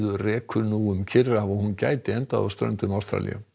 rekur nú um Kyrrahaf og hún gæti endað á ströndum Ástralíu